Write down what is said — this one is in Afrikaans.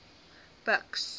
buks